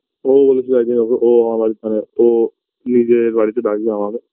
ওও বলেছিল একদিন ও আমার বাড়ির সামনে ও নিজের বাড়িতে ডাকবে আমাকে